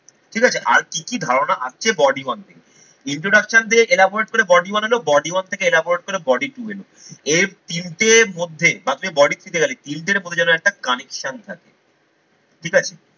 ঠিক আছে? আর কি কি ধারণা আসছে body one থেকে। introduction দিয়ে ellaborate করে body বানালো, body one থেকে ellaborate করে body two এলো। এই তিনটের মধ্যে first এ body দিকে গেলে তিনটের মধ্যে যেন একটা connection থাকে ঠিক আছে।